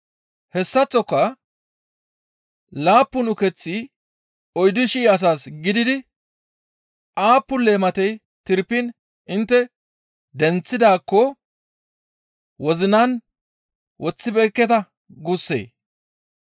Hessaththoka laappun ukeththi oyddu shii asas gididi aappun leematey tirpiin intte denththidaakko wozinan woththibeekketa guussee?